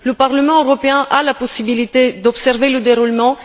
Le Parlement européen a la possibilité d'observer le déroulement.